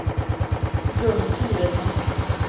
Gun Turesson